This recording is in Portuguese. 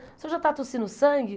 O senhor já está tossindo sangue?